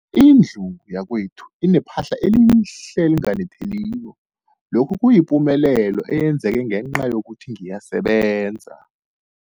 Indlu yakwethu inephahla elihle, elinganetheliko, lokhu kuyipumelelo eyenzeke ngenca yokuthi ngiyasebenza.